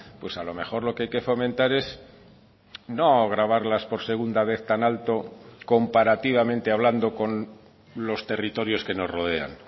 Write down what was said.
pues a lo mejor lo que hay que fomentar es no gravarlas por segunda vez tan alto comparativamente hablando con los territorios que nos rodean